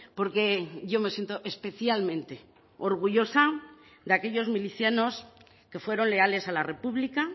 porque yo me siento especialmente orgullosa de aquellos milicianos que fueron leales a la república